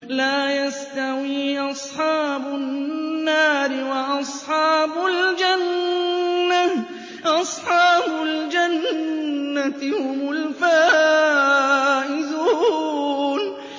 لَا يَسْتَوِي أَصْحَابُ النَّارِ وَأَصْحَابُ الْجَنَّةِ ۚ أَصْحَابُ الْجَنَّةِ هُمُ الْفَائِزُونَ